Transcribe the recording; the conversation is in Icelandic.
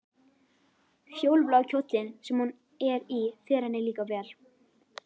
Fjólublái kjóllinn sem hún er í fer henni líka vel.